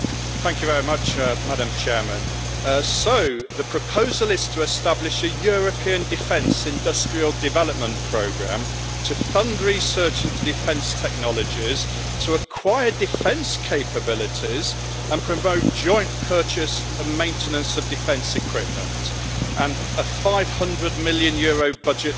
Madam President, so, the proposal is to establish a European Defence Industrial Development Programme to fund research into defence technologies, to acquire defence capabilities and promote joint purchase and maintenance of defence equipment, with a EUR 500 million budget for the programme.